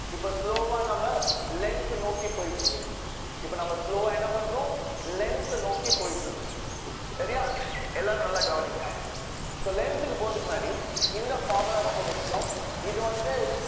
இப்ப slow வா நம்ம lens நோக்கி போயிட்டு இருக்கோம் இப்ப நம்ம slow ஆ என்ன பண்றோம் lens அ நோக்கி போயிட்டு இருக்கோம் சரியா எல்லாரும் நல்லா கவனிங்க so lens க்கு போறதுக்கு முன்னாடி இந்த formula ரொம்ப முக்கியம் இது வந்து